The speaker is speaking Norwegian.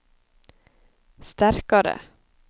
sterkare